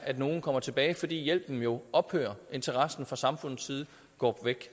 at nogen kommer tilbage fordi hjælpen jo ophører og interessen fra samfundets side går væk